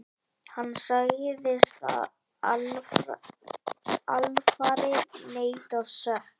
Hann sagðist alfarið neita sök.